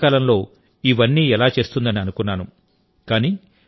గుజరాత్ ఏకకాలంలో ఇవన్నీ ఎలా చేస్తుందని అనుకున్నాను